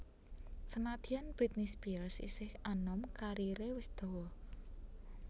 Senadyan Britney Spears isih anom kariré wis dawa